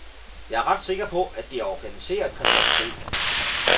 Jeg er ret sikker på, at det er organiseret kriminalitet.